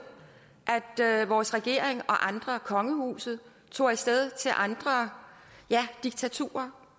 at vores regering og andre kongehuset tog af sted til andre ja diktaturer